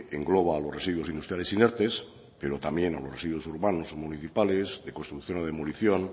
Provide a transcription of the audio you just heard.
engloba a los residuos industriales inertes pero también a los residuos urbanos o municipales de construcción o demolición